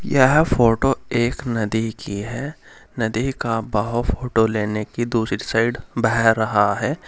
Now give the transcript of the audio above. यह फोटो एक नदी की है नदी का बहाव फोटो लेने की दूसरी साइड बह रहा है।